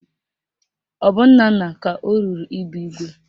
Ọ bụ Nnanna ka o ruru ịbụ igwe?